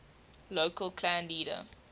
local clan leader